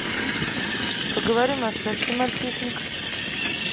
поговорим о сексе мальчишник